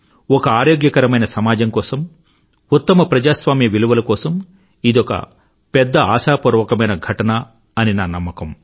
ఒక ఆరోగ్యకరమైన సమాజం కోసం ఉత్తమ ప్రజాస్వామ్య విలువల కోసం ఇదొక పెద్ద ఆశాపూర్వకమైన ఘటన అని నా నమ్మకం